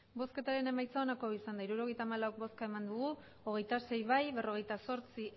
bozketaren emaitza onako izan da hirurogeita hamabost eman dugu bozka hogeita sei boto alde berrogeita zortzi